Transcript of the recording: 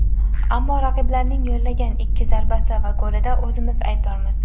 Ammo raqiblarning yo‘llagan ikki zarbasi va golida o‘zimiz aybdormiz.